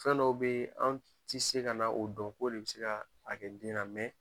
Fɛn dɔw be an ti se kana o dɔn k'o de bi se k'a kɛ den na